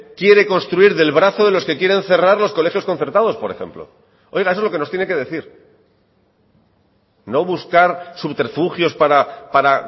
quiere construir del brazo de los que quieren cerrar los colegios concertados por ejemplo oiga eso es lo que nos tiene que decir no buscar subterfugios para